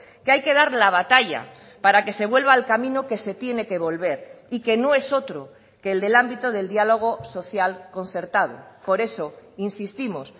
que hay que dar la batalla para que se vuelva al camino que se tiene que volver y que no es otro que el del ámbito del diálogo social concertado por eso insistimos